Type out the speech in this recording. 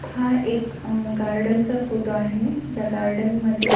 हा एक अ गार्डन चा फोटो आहे ज्या गार्डन मध्ये --